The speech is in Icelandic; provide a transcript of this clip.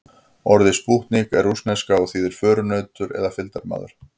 Orðið spútnik er rússneska og þýðir förunautur eða fylgdarmaður.